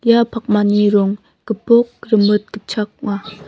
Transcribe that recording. ia pakmani rong gipok rimit gitchak ong·a.